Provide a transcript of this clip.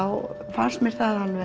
fannst mér